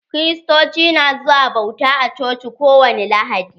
Kiriatoci na zuwa bauta a coci ko wani lahadi